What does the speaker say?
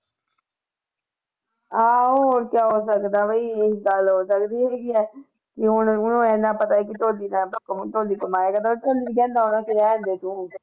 ਆਹੋ ਓਦਾਂ ਹੋ ਸਕਦਾ ਵੀ ਗੱਲ ਹੋ ਸਕਦੀ ਹੈ ਕਿ ਵੀ ਹੁਣ ਉਹਨੂੰ ਇੰਨਾ ਪਤਾ ਕਿ ਕਮਾਇਆ ਕਰਦਾ ਰਹਿਣ ਦੇ ਤੂੰ